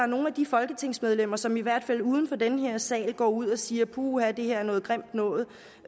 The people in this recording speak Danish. nogle af de folketingsmedlemmer som i hvert fald uden for den her sal går ud og siger at puha det er noget grimt noget